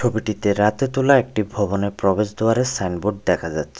ছবিটিতে রাতে তোলা একটি ভবনের প্রবেশ দোয়ারের সাইন বোর্ড দেখা যাচ্ছে।